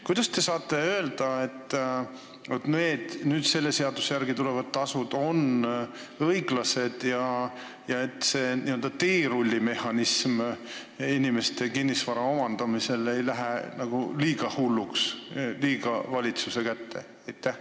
Kas te saate öelda, et selle seaduse järgi tulevad tasud on õiglased ja et see n-ö teerullimehhanism inimeste kinnisvara omandamisel ei lähe nagu liiga hulluks, et see kõik ei lähe liiga valitsuse kätte?